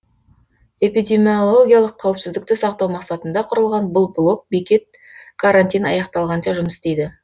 эпидемиологиялық қауіпсіздікті сақтау мақсатында құрылған бұл блок бекет карантин аяқталғанша жұмыс істейді